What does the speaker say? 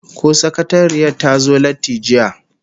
Ko sakatariyar ta zo latti jiya?